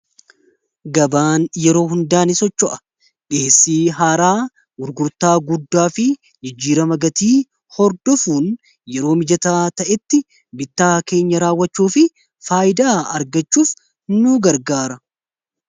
Gabaan yeroo hundaa ni socho'a dhiheessii haaraa gurgurtaa guddaa fi jijjiirama gatii hordofuun yeroo mijataa ta'etti bittaa keenya raawachuu fi faayidaa argachuuf nu gargaara.